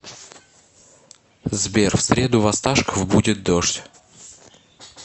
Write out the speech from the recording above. сбер в среду в осташков будет дождь